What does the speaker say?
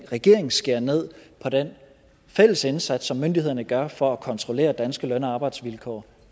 at regeringen skærer ned på den fælles indsats som myndighederne gør for at kontrollere danske løn og arbejdsvilkår